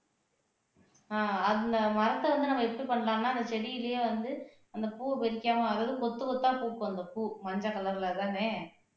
ஆஹ் அந்த மரத்த வந்து நம்ம பண்ணலாம்னா அந்த செடியிலேயே வந்து அந்த பூ வெடிக்காம அதாவது கொத்து கொத்தா பூக்கும் அந்த பூ மஞ்சள் கலர்லதானே